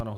Ano.